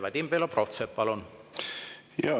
Vadim Belobrovtsev, palun!